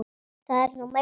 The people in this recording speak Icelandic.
Það er nú meira.